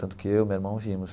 Tanto que eu e meu irmão vimos.